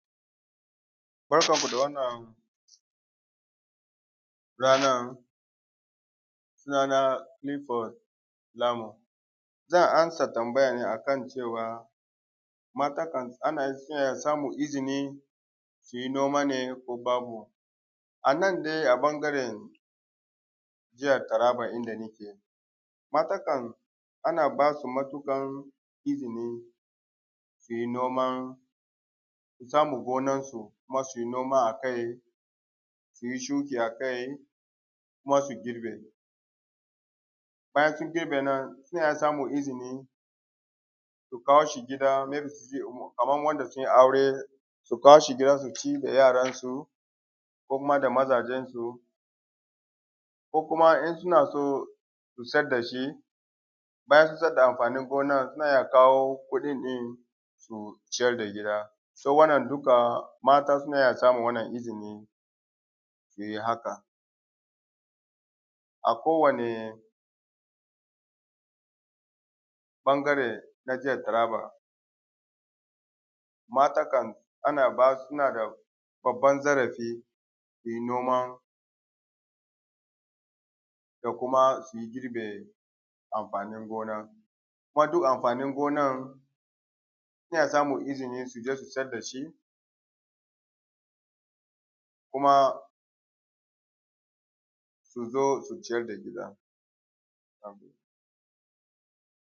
Barkanku da wanna ranan! Sunana Kilifod Lamu zan amsa tambaya ne akan cewa a mata na iya samun izini su yi noma ne ko babu. A nan dai a ɓangaran jihar Taraba inda nake, mata kam ana ba su matuƙan izini su yi noman samun gonansu, su yi noma a kai, su yi shuki akai kuma su yi girbi. Bayan sun girbe nan su na samun izini su kawo shi kaman wanda sun yi aure, su kawo shi gida su ci da yaransu kuma da majazensu. Ko kuma in su na so su sayar da shi bayan sun sayar da amfanin gonan se a kawo kuɗin shi, su ciyar da gida. So wannan duka mata su na iya samun izini su yi haka. A kowane ɓangare na jihar Taraba mata kan ana ba su su na da ɓangaren noman da kuma da ke amfanin gona kuma. Duk amfanin gonan su na samun izini su je su siyar da shi kuma su zo su ciyar da gida.